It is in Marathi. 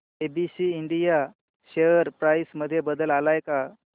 एबीसी इंडिया शेअर प्राइस मध्ये बदल आलाय का